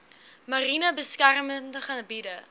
mariene beskermde gebiede